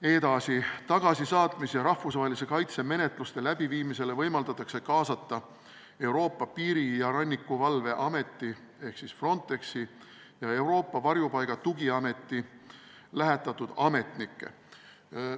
Edasi: tagasisaatmise ja rahvusvahelise kaitse menetluste läbiviimisele võimaldatakse kaasata Euroopa Piiri- ja Rannikuvalve Ameti ja Euroopa Varjupaigaküsimuste Tugiameti lähetatud ametnikke.